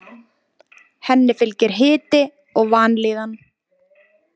Henni fylgir hiti og vanlíðan.